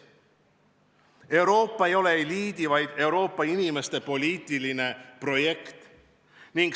Euroopa ei ole eliidi, vaid Euroopa inimeste poliitiline projekt.